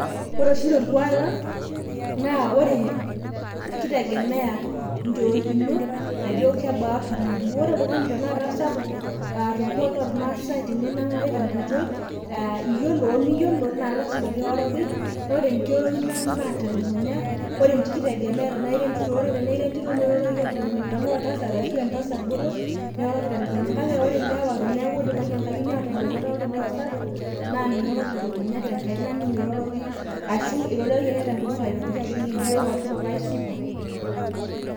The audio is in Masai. ore oshi torkuak lang' naa kitegemeya ajo kebaa oltung'ani , ore torkuak lang' loo irmaasai naa ore pee inang'are oltung'ani atamiyiolo naa ilasima piroroki naa telukunya , kitegemea tenaa entito tenaa etasat ,tenaa oltasat naa telukunya iroroki, kake ore ilewa tenidipi atumurat meeta ataa oltung'ni sapuk naa toongaik ninye irorokisho ashu ejoki ake tenkutuk papai supa, ashu yieyioo supa.